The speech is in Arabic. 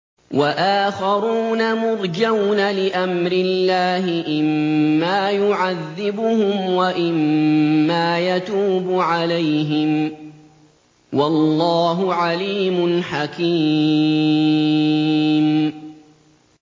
وَآخَرُونَ مُرْجَوْنَ لِأَمْرِ اللَّهِ إِمَّا يُعَذِّبُهُمْ وَإِمَّا يَتُوبُ عَلَيْهِمْ ۗ وَاللَّهُ عَلِيمٌ حَكِيمٌ